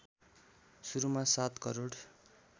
सुरुमा ७ करोड